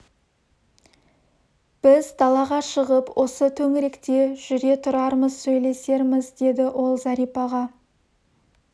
біз далаға шығып осы төңіректе жүре тұрармыз сөйлесерміз деді ол зәрипаға